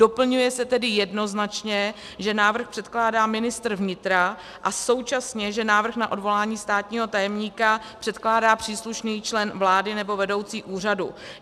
Doplňuje se tedy jednoznačně, že návrh předkládá ministr vnitra, a současně, že návrh na odvolání státního tajemníka předkládá příslušný člen vlády nebo vedoucí úřadu.